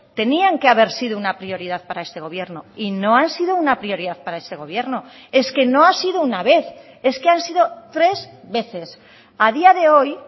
tenían que haber sido una prioridad para este gobierno y no han sido una prioridad para este gobierno es que no ha sido una vez es que han sido tres veces a día de hoy